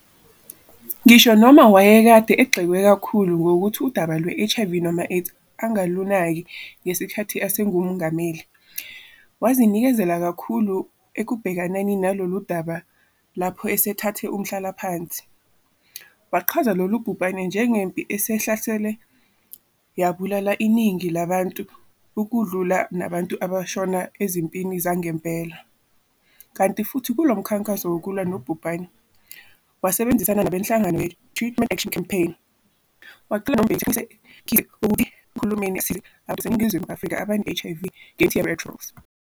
Ngisho noma wayekade egxekwe kakkhulu ngokuthi udaba lwe-HIV and AIDS angalunaki ngesikhathi esingumongameli, wazinikezela kakhulu ekubhekaneni nalolu daba lapho esethathe umhlalaphansi, wachaza lolubhubhane "njengempi" esihlasele yabulala iningi labantu ukudlula nabantu abashona ezimpini zangempela, kanti futhi kulo mkhankaso wokulwa nobhubhane, wasebenzisana nabenhlangano ye-Treatment Action Campaign, wacela noMbeki ukuthi aqinisekise ukuthi uhulumeni asize abantu baseNingizimu Afrika abane-HIV ngemithi yama-anti-retrovirals.